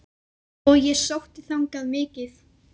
Og ég sótti þangað mikið.